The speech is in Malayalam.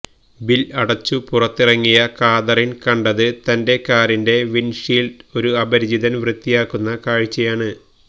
ബിൽ അടച്ചു പുറത്തിറങ്ങിയ കാതറിൻ കണ്ടത് തന്റെ കാറിന്റെ വിൻഡ്ഷീൽഡ് ഒരു അപരിചിതൻ വൃത്തിയാക്കുന്ന കാഴ്ചയാണ്